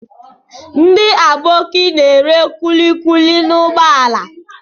Ndị Aboki na-ere kulikuli n'ụgbọala.